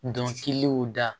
Dɔnkiliw da